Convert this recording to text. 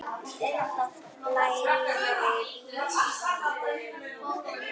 Lægri vígslur voru